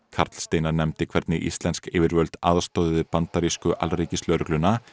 karl Steinar nefndi hvernig íslensk yfirvöld aðstoðuðu bandarísku alríkislögregluna